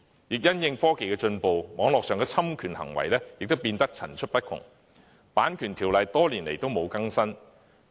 而且，隨着科技進步，網絡上的侵權行為亦變得層出不窮，《版權條例》多年來卻未有更新。